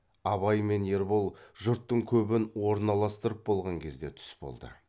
абай мен ербол жұрттың көбін орналастырып болған кезде түс болды